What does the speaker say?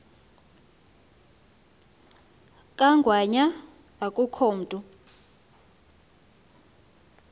kangwanya akukho mntu